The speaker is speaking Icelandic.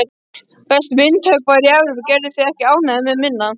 Besti myndhöggvari Evrópu, gerðu þig ekki ánægða með minna.